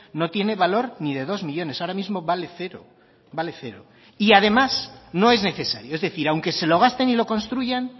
no tiene valor ni de dos millónes ahora mismo vale cero vale cero y además no es necesario es decir aunque se lo gasten y lo construyan